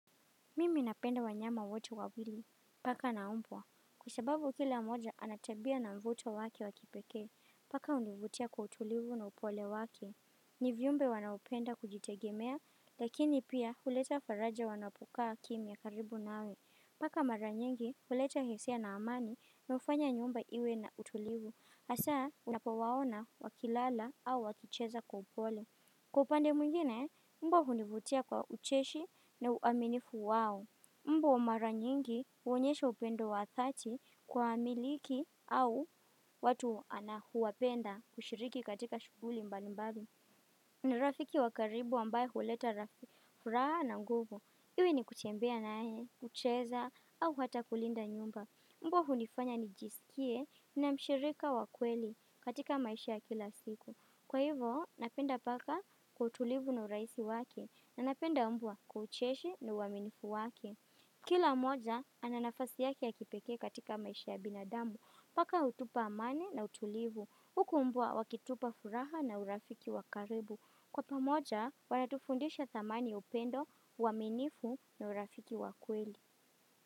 Mimi napenda wanyama wote wawili, paka na mbwa, kusababu kila mmoja anatabia na mvuto wake wakipeke, paka univutia kwa utulivu na upole wake. Nivyumbe wanaupenda kujitegemea, lakini pia huleta faraja wanapukaa kimya karibu na we, paka maranyengi huleta hisia na amani na ufanya nyumba iwe na utulivu, hasa unapo waona wakilala au wakicheza kwa upole. Kwa pande mwingine, mbwa hunivutia kwa ucheshi na uaminifu wao. Mbwa maranyingi uonyesha upendo wa dhati kwa amiliki au watu anahuwapenda kushiriki katika shughuli mbalimbali. Ni rafiki wakaribu ambaye huleta rafi furaha na mgovo. Iwe ni kutembea nae, kucheza au hata kulinda nyumba. Mbwa hunifanya nijisikie na mshirika wakweli katika maisha kila siku. Kwa hivo, napenda paka kwa utulivu na uraisi waki, na napenda mbwa kwa ucheshi na uaminifu wake. Kila moja, ananafasi yaki ya kipeke katika maisha ya binadamu. Paka utupa amane na utulivu. Huku mbwa wakitupa furaha na urafiki wakaribu. Kwa pamoja, wanatufundisha thamani upendo uaminifu na urafiki wakweli.